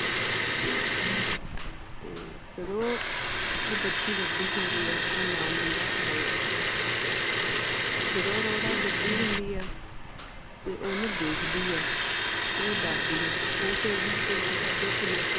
ਤੇ ਜਦੋ ਉਹ ਬੱਚੀ ਵੱਡੀ ਹੁੰਦੀ ਹੈ ਉਦਾ ਨਾਂ ਹੁੰਦਾ ਅਰੋੜਾ ਜਦੋ ਅਰੋੜਾ ਵੱਡੀ ਹੁੰਦੀ ਹੈ ਤੇ ਓਨੂੰ ਦੇਖਦੀ ਹੈ ਤੇ ਉਹ ਡਰਦੀ ਨਹੀਂ ਉਹ ਕਹੇਗੀ ਵੀ ਤੂੰ ਮੇਰੇ ਤੋਂ